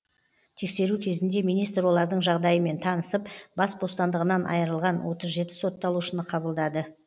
тексеру кезінде министр олардың жағдайымен танысып бас бостандығынан айырылған отыз жеті сотталушыны қабылдады